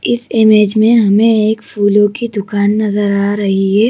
इस इमेज में हमें एक फूलों की दुकान नजर आ रही है।